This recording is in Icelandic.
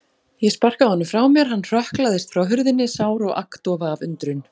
Ég sparkaði honum frá mér, hann hrökklaðist frá hurðinni, sár og agndofa af undrun.